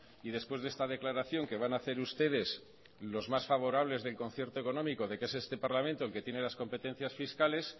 y después de esta declaración que van a hacer ustedes y los más favorables del concierto económico de que es este parlamento el que tiene las competencias fiscales